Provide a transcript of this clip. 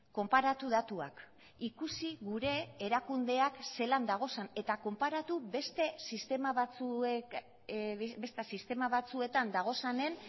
konparatu datuak ikusi gure erakundeak zelan dauden eta konparatu beste sistema batzuek beste sistema batzuetan daudenen